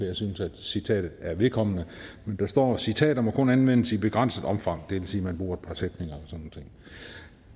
jeg synes at citatet var vedkommende men der står citater må kun anvendes i begrænset omfang det vil sige at man bruger et par sætninger